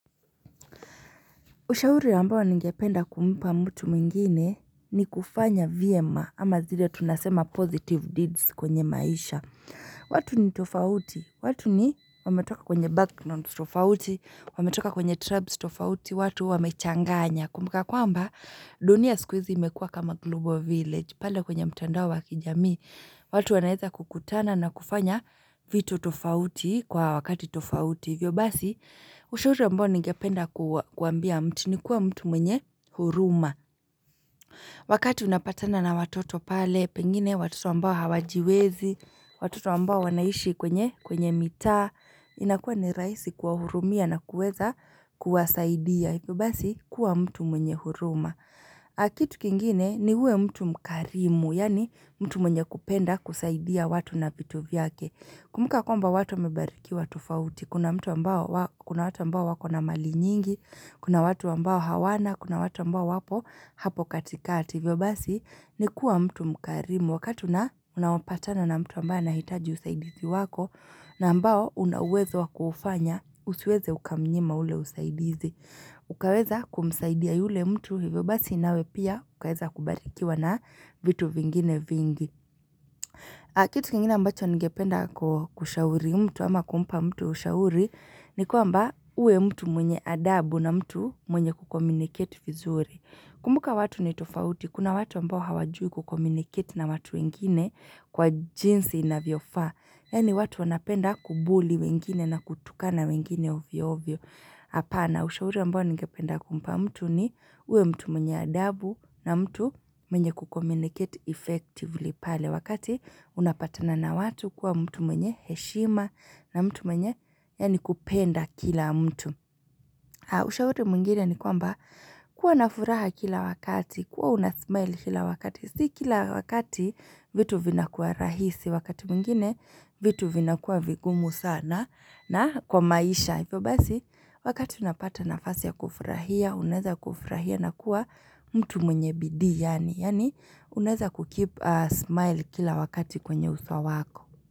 Ushauri ambao ningependa kumpa mtu mwingine ni kufanya vyema ama zile tunasema positive deeds kwenye maisha. Watu ni tofauti, watu ni wametoka kwenye background tofauti, wametoka kwenye tribes tofauti, watu wamechanganya. Kumbuka jwamba, dunia siku hizi imekua kama global village. Pale kwenye mtandao wa kijamii, watu wanaweza kukutana na kufanya vitu tofauti kwa wakati tofauti. Hivyo basi, ushauri ambao ningependa kuambia mtu ni kuwa mtu mwenye huruma. Wakati unapatana na watoto pale, pengine watoto ambao hawajiwezi, watoto ambao wanaishi kwenye mitaa, inakuwa ni rahisi kuwahurumia na kuweza kuwasaidia. Vyo basi, kuwa mtu mwenye huruma. Kitu kingine ni uwe mtu mkarimu, yani mtu mwenye kupenda kusaidia watu na vitu vyake. Kumbuka kwamba watu wamebarikiwa tofauti, kuna watu mbao wako na mali nyingi, kuna watu mbao hawana, kuna watu ambao wapo hapo katikati. Hivyo basi ni kuwa mtu mkarimu wakati unaopatana na mtu ambao anahitaji usaidizi wako na ambao una uwezo wakuufanya usiweze ukamnyima ule usaidizi. Ukaweza kumsaidia yule mtu hivyo basi nawe pia ukaweza kubarikiwa na vitu vingine vingi. Kitu kiengine ambacho ningependa kushauri mtu ama kumpa mtu ushauri ni kwamba uwe mtu mwenye adabu na mtu mwenye kukomuniketi vizuri. Kumbuka watu ni tofauti, kuna watu ambao hawajui kukomuniketi na watu wengine kwa jinsi inavyofa. Yani watu wanapenda kubuli wengine na kutukana wengine ovyo ovyo. Hapana ushauri ambao ngependa kumpa mtu ni uwe mtu mwenye adabu na mtu mwenye kukommunicate effectively pale wakati unapatana na watu kuwa mtu mwenye heshima na mtu mwenye yani kupenda kila mtu. Ushauri mwingine ni kwamba kuwa na furaha kila wakati, kuwa unasmile kila wakati, si kila wakati vitu vinakuwa rahisi, wakati mwingine vitu vinakuwa vigumu sana na kwa maisha, hivyo basi wakati unapata nafasi ya kufurahia, unaweza kufurahia na kuwa mtu mwenye bidii yani, yani uneza kukeep a smile kila wakati kwenye uso wako.